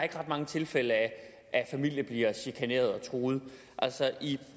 er ret mange tilfælde af at familier bliver chikaneret og truet altså i